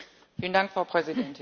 Frau Präsidentin!